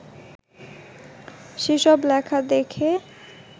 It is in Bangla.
সেসব লেখা দেখে